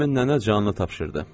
Həmin nənə canını tapşırdı.